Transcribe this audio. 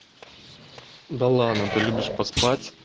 да ладно ты любишь поспать